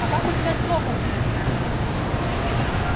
а как у тебя с локонсом